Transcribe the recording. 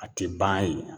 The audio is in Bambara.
A tɛ ban yen